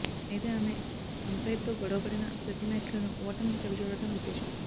అయితే ఆమె అంపైర్తో గొడవపడిన ప్రతీ మ్యాచ్లోనూ ఓటమి చవిచూడడం విశేషం